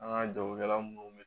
An ka jagokɛla minnu bɛ